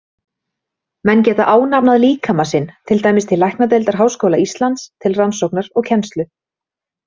Menn geta ánafnað líkama sinn, til dæmis til læknadeildar Háskóla Íslands, til rannsóknar og kennslu.